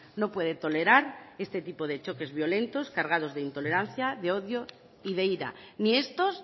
no puede tolerar este tipo de choques violentos cargados de intolerancia de odio y de ira ni estos